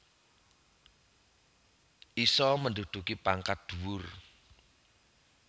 Iso menduduki pangkat dhuwur